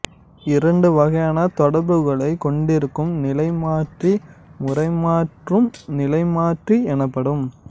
இரண்டு வகையான தொடர்புகளை கொண்டிருக்கும் நிலைமாற்றி முறைமாற்றும் நிலைமாற்றி எனப்படும்